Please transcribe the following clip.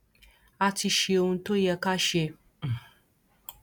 a ti ṣe ohun tó yẹ ká ṣe um